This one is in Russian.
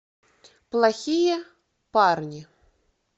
плохие парни